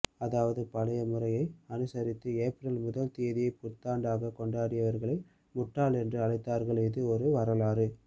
அதாவது பழைய முறையை அனுசரித்து ஏப்ரல் முதல் தேதியை புத்தாண்டாகக் கொண்டாடியவர்களை முட்டாள்கள் என்று அழைத்தார்கள் இது ஒரு வரலாறு